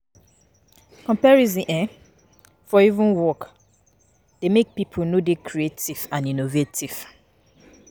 Comparison um for um work dey make pipo no dey creative and innovative